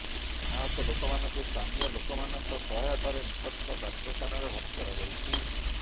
ଆହତ ଲୋକମାନଙ୍କୁ ସ୍ଥାନୀୟ ଲୋକମାନଙ୍କ ସହାୟତାରେ ନିକଟସ୍ଥ ଡାକ୍ତରଖାନାରେ ଭର୍ତ୍ତି କରାଯାଇଛି